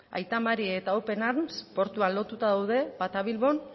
aita mari eta open arms portuan lotuta daude bata bilbon